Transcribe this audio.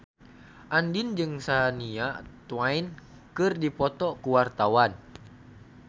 Andien jeung Shania Twain keur dipoto ku wartawan